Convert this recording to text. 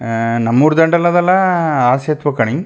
ಅಹ್ ನಮ್ಮೂರ್ ದಂಡೆ ಅದಲ್ಲಾ ಆ ಸೆತವೇ ಕಣೆ.